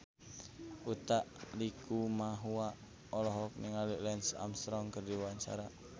Utha Likumahua olohok ningali Lance Armstrong keur diwawancara